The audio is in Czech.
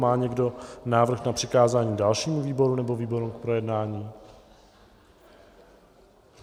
Má někdo návrh na přikázání dalšímu výboru nebo výborům k projednání?